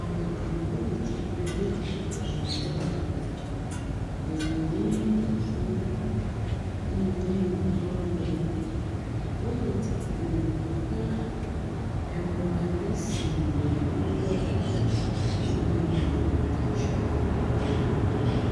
Ame geɖewo le tsitre ɖe exɔ aɖe me, geɖeawo nye ŋutsuwo eye nyɔnu hã wole wo me, wole tsitre ƒoxla emɔ aɖe si le wo gbɔ la, eye ame ɖeka tsyɔ akɔ ɖe anyi.